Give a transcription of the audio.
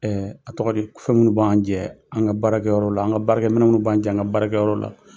a tɔgɔ di ? Kfɛn minnu b'an jɛ an ŋa baarakɛyɔrɔ la, an ŋa baarakɛminɛnw minnu b'an jɛ an ŋa baarakɛyɔrɔ la.